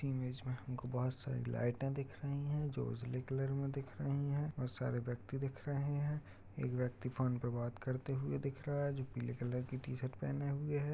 Image में हमें बहुत सारी लाइटें दिख रही है जोकि नीले कलर में दिख रही है और सारे व्यक्ति दिख रहे है एक व्यक्ति फ़ोन पे बात करते हुए दिख रहा है जो पीले कलर की टीशर्ट पहने हुए है।